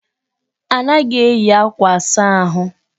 Anaghị eyi akwa asa ahụ.